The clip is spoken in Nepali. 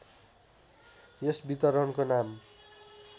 यस वितरणको नाम